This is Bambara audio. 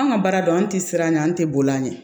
Anw ka baara don an tɛ siran ɲɛ an tɛ bolo an ɲɛ